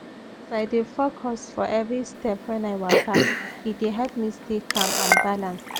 as i dey focus for every step when i waka e dey help me stay calm and balanced